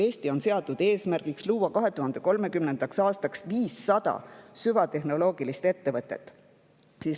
Eestis on seatud eesmärgiks luua 2030. aastaks 500 süvatehnoloogilist ettevõtet.